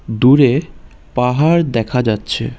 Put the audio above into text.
দূরে পাহাড় দেখা যাচ্ছে।